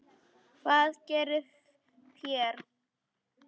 Hvað gerið þér?